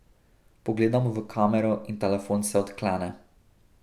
Pogledamo v kamero in telefon se odklene.